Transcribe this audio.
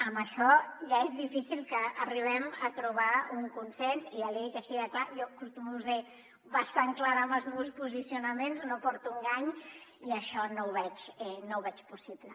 en això ja és difícil que arribem a trobar un con·sens i ja l’hi dic així de clar jo acostumo a ser bastant clara amb els meus posicio·naments no porto a engany i això no ho veig possible